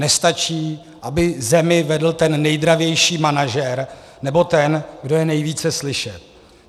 Nestačí, aby zemi vedl ten nejdravější manažer nebo ten, kdo je nejvíce slyšet.